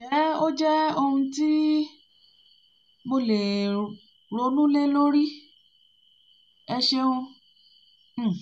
ǹjẹ́ ó jẹ́ ohun um ti mo lè ronú lé lórí? ẹ ṣeun um